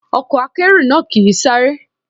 Ọkọ̀ akẹ́rù náà kì ń sáré.